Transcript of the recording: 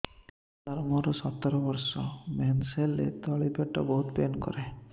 ସାର ମୋର ସତର ବର୍ଷ ମେନ୍ସେସ ହେଲେ ତଳି ପେଟ ବହୁତ ପେନ୍ କରେ